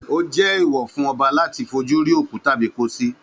Ó jẹ́ èèwọ̀ fún ọba láti fojú rí òkú tàbí pósí